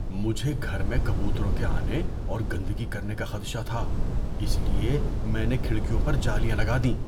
مجھے گھر میں کبوتروں کے آنے اور گندگی کرنے کا خدشہ تھا اس لیے میں نے کھڑکیوں پر جالیاں لگا دیں۔